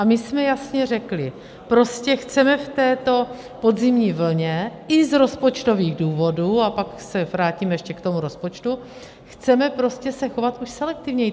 A my jsme jasně řekli, prostě chceme v této podzimní vlně i z rozpočtových důvodů - a pak se vrátím ještě k tomu rozpočtu - chceme prostě se chovat už selektivněji.